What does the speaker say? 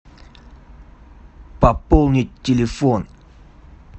пополнить телефон